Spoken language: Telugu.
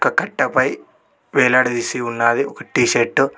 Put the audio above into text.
ఒక కట్టపై వేలాడదీసి ఉన్నాది ఒక టీషర్టు .